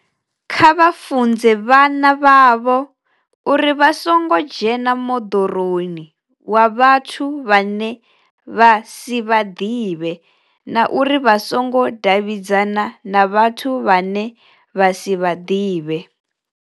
Kha vha funze vhana vhavho uri vha songo dzhena moḓoroni wa vhathu vhane vha si vha ḓivhe na uri vha songo davhidzana na vhathu vhane vha si vha ḓivhe.